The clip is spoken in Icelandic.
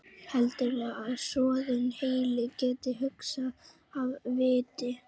Heldurðu að soðinn heili geti hugsað af viti?